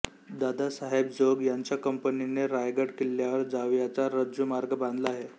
दादासाहेब जोग यांच्या कंपनीने रायगड किल्ल्यावर जावयाचा रज्जूमार्ग बांधला आहे